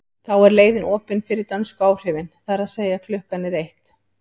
Þá er leiðin opin fyrir dönsku áhrifin, það er að segja að klukkan er eitt.